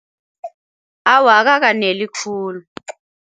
Awa, akakaneli khulu.